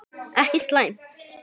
Ekki slæmt.